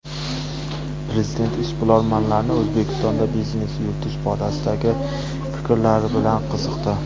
Prezident ishbilarmonlarning O‘zbekistonda biznes yuritish borasidagi fikrlari bilan qiziqdi.